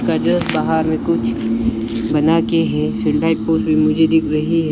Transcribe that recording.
बाहर कुछ बना के है भी मुझे दिख रही है।